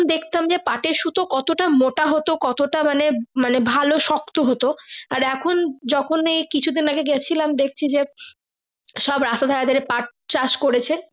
দেখতাম যে পাঠের সুতো কত মোটা হতো কত তা মানে মানে ভালো শক্ত হতো আর এখন যখনি কিছু দিন আগে গেছিলাম দেখতে সব রাস্তার ধরে ধরে পাঠ চাষ করেছে।